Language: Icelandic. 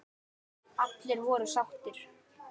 Allir voru sáttir.